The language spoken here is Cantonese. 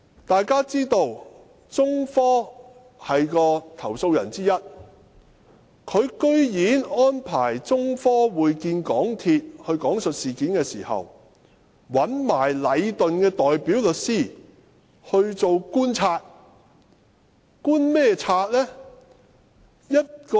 大家知道中科是投訴人之一，但港鐵公司安排中科講述事件時，居然讓禮頓的代表律師來觀察。